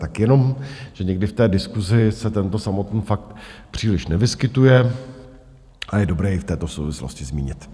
Tak jenom, že někdy v té diskusi se tento samotný fakt příliš nevyskytuje a je dobré i v této souvislosti zmínit.